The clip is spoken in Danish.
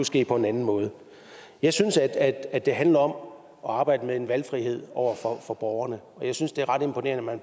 ske på en anden måde jeg synes at at det handler om at arbejde med en valgfrihed over for borgerne jeg synes det er ret imponerende at